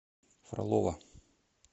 фролово